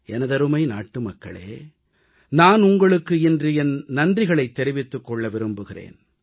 எனதருமை நாட்டுமக்களே நான் உங்களுக்கு இன்று என் நன்றிகளைத் தெரிவித்துக் கொள்ள விரும்புகிறேன்